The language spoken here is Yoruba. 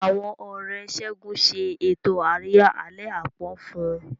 Àwọn Ọ̀rẹ́ Segun ṣe ètò àríyá àlẹ́ àpọ́n fún un.